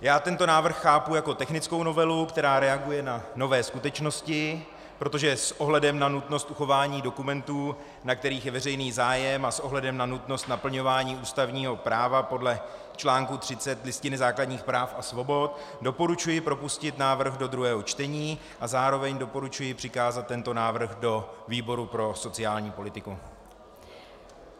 Já tento návrh chápu jako technickou novelu, která reaguje na nové skutečnosti, protože s ohledem na nutnost uchování dokumentů, na kterých je veřejný zájem, a s ohledem na nutnost naplňování ústavního práva podle článku 30 Listiny základních práv a svobod doporučuji propustit návrh do druhého čtení a zároveň doporučuji přikázat tento návrh do výboru pro sociální politiku.